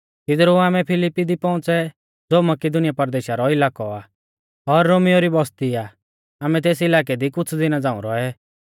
तिदरु आमै फिलिप्पी दी पौउंच़ै ज़ो मकिदुनीया परदेशा रौ इलाकौ आ और रोमियो री बस्ती आ आमै तेस इलाकै दी कुछ़ दिना झ़ांऊ रौऐ